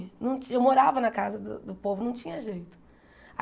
Não ti eu morava na casa do do povo, não tinha jeito.